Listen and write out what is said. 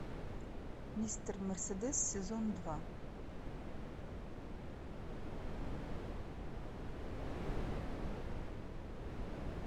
мистер мерседес сезон два